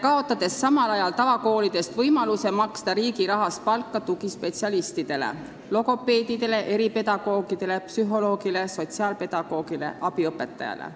... kaotades samal ajal tavakoolides võimaluse maksta riigi rahast palka tugispetsialistidele, logopeedidele, eripedagoogidele, psühholoogidele, sotsiaalpedagoogidele ja abiõpetajatele.